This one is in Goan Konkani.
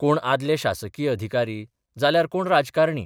कोण आदले शासकीय अधिकारी जाल्यार कोण राजकारणी.